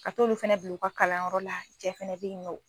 Ka t'olu fana bila u ka kalanyɔrɔ la cɛ fana be yen nɔn